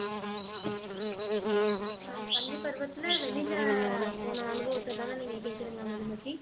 நான் பள்ளி பருவத்துல வெளியில போன அனுபவத்தைதான நீங்க கேக்குறீங்க மதுமதி